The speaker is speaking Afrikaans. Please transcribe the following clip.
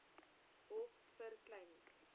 hof vir klein